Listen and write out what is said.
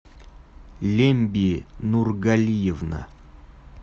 лемби нургалиевна